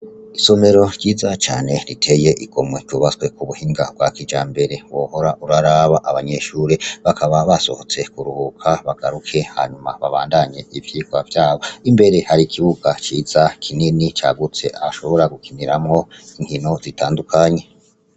Isomero ryiza cane riteye igomwe ryubatswe k'ubuhinga bwa kijambere. Wohora uraraba. Abanyeshure bakaba basohotse kuruhuka bagaruke hanyuma babandanye ivyigwa vyabo. Imbere hari ikibuga ciza kinini cagutse ahashobora gukiniramwo inkino zitandukanye.